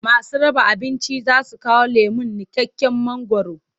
Masu raba abincin za su kawo lemon niƙaƙƙen mangwaro.